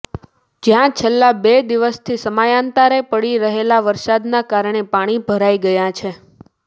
જ્યાં છેલ્લા બે દિવસથી સમયાંતરે પડી રહેલા વરસાદના કારણે પાણી ભરાઈ ગયા છે